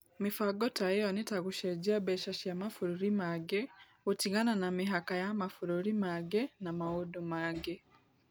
Mĩbango ta ĩyo nĩ ta gũcenjia mbeca cia mabũrũri mangĩ, gũtigana na mĩhaka ya mabũrũri mangĩ, na maũndũ mangĩ.